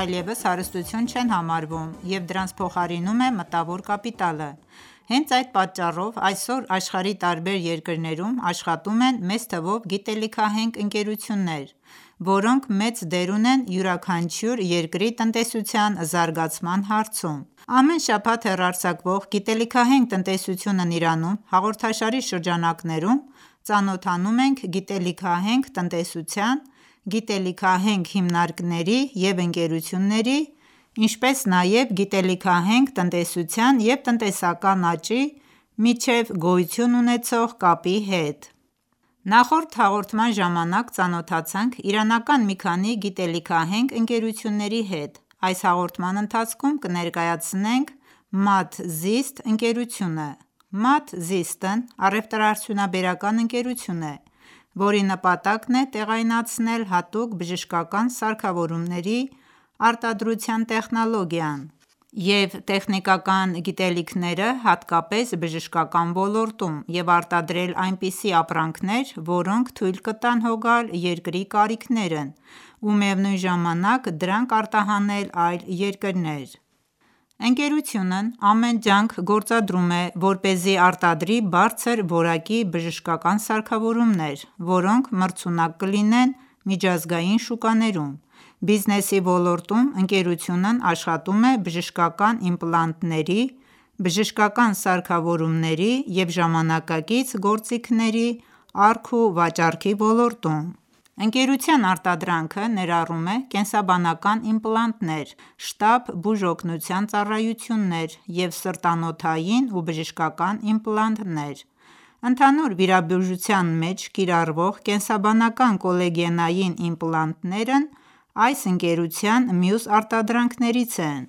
այլևս հարստություն չեն համարվում և դրանց փոխարինում է մտավոր կապիտալը: Հենց այդ պատճառով, այսօր աշխարհի տարբեր երկրներում աշխատում են մեծ թվով գիտելիքահենք ընկերություններ, որոնք մեծ դեր ունեն յուրաքանչյուր երկրի տնտեսության զարգացման հարցում: Ամեն շաբաթ հեռարձակվող «Գիտելիքահենք տնտեսությունն Իրանում» հաղորդաշարի շրջանակներում, ծանոթանում ենք գիտելիքահենք տնտեսության, գիտելիքահենք հիմնարկների ու ընկերությունների, ինչպես նաև գիտելիքահենք տնտեսության և տնտեսական աճի միջև գոյություն ունեցող կապի հետ: Նախորդ հաղորդման ժամանակ ծանոթացանք իրանական մի քանի գիտելիքահենք ընկերութունների հետ: Այս հաղորդման ընթացքում կներկայացնենք Maad Zist ընկերությունը: Maad Zist -ն առևտրաարդյունաբերական ընկերություն է, որի նպատակն է տեղայնացնել հատուկ բժշկական սարքավորումների արտադրության տեխնոլոգիան և տեխնիկական գիտելիքները հատկապես բժշկական ոլորտում և արտադրել այնպիսի ապրանքներ, որոնք թույլ կտան հոգալ երկրի կարիքներն ու միևնույն ժամանակ դրանք արտահանել այլ երկրներ: Ընկերությունն ամեն ջանք գործադրում է, որպեսզի արտադրի բարձր որակի բժշկական սարքավորումներ, որոնք մրցունակ կլինեն միջազգային շուկաներում: Բիզնեսի ոլորտում ընկերությունն աշխատում է բժշկական իմպլանտների, բժշկական սարքավորումների և ժամանակակից գործիքների առք ու վաճառքի ոլորտում: Բիոլոգիական իմպլանտ Ընկերության արտադրանքը ներառում է կենսաբանական իմպլանտներ, շտապ բուժօգնության ծառայություններ և սրտանոթային ու բժշկական իմպլանտներ: Ընդհանուր վիրաբուժության մեջ կիրառվող կենսաբանական կոլագենային իմպլանտներն այս ընկերության մյուս արտադրանքներից են: